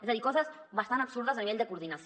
és a dir coses bastant absurdes a nivell de coordinació